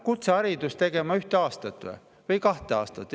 Kutseharidust tegema üks aasta või kaks aastat?